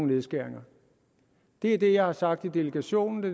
nedskæringer det er det jeg har sagt i delegationen og